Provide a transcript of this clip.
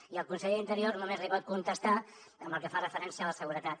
i el conseller d’interior només li pot contestar amb el que fa referència a la seguretat